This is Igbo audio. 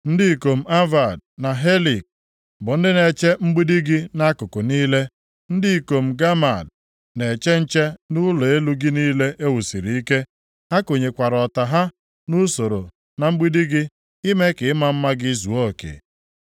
Ndị ikom Avad, na Helek bụ ndị na-eche mgbidi gị nʼakụkụ niile. Ndị ikom Gamad na-eche nche nʼụlọ elu gị niile e wusiri ike. Ha konyekwara ọta ha nʼusoro na mgbidi gị, ime ka ịma mma gị zuo oke.